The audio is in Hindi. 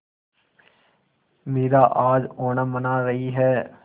मीरा आज ओणम मना रही है